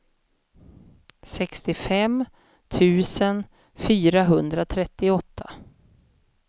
sextiofem tusen fyrahundratrettioåtta